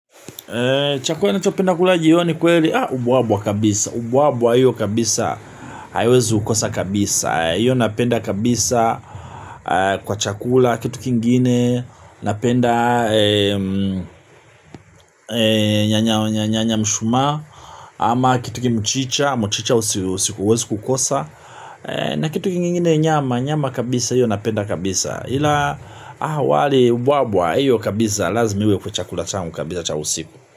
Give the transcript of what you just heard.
Chakula nacho penda kula jioni kweli. Ubuabwa kabisa. Ubuabwa hiyo kabisa. Haiwezi kukosa kabisa. Hiyo napenda kabisa. Kwa chakula kitu kingine. Napenda nyanya mshuma ama kitu kimchicha. Mchicha usikuwezi kukosa. Na kitu kingine nyama. Nyama kabisa hiyo napenda kabisa. Hila awali ubuabwa. Hiyo kabisa lazimi iwe kwa chakula changu kabisa cha usiku.